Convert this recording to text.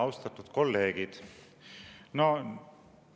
Austatud kolleegid!